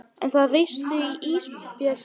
Og það veistu Ísbjörg mín.